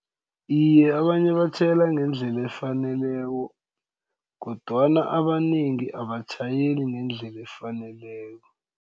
Iye, abanye batjhayela ngendlela efaneleko kodwana abanengi abatjhayeli ngendlela efaneleko.